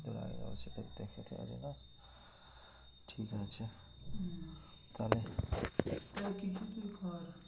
যা হোক কিছু তুই কর।